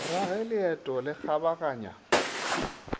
ra ge leeto le kgabaganya